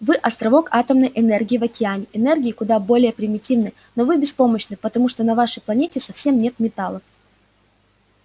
вы островок атомной энергии в океане энергии куда более примитивной но вы беспомощны потому что на вашей планете совсем нет металла